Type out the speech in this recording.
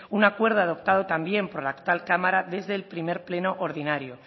un acuerdo adoptado también por la actual cámara desde el primer pleno ordinario